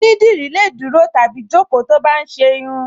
Onídìrí lè dúró tàbí jókòó tó bá ń ṣe irun